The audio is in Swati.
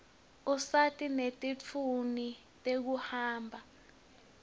usita nete tintfueni tekuhamba